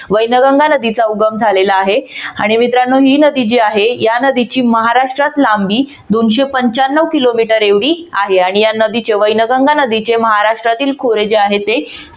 वैनगंगा नदीचा उगम झालेला आहे आणि मित्रांनो ही जी नदी आहे या नदीची महाराष्ट्रात लांबी दोनशे पंच्याण्णव किलोमीटर एवढी आहे. आणि या नदीचे वैनगंगा नदीचे महाराष्ट्रातील खोरे जे आहे ते